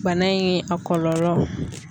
Bana in a kɔlɔlɔ.